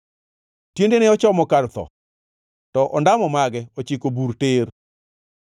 Tiendene ochomo kar tho, to ondamo mage ochiko bur tir.